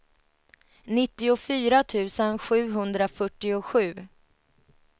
nittiofyra tusen sjuhundrafyrtiosju